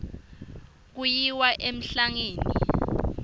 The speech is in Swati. kuyiwa emhlangeni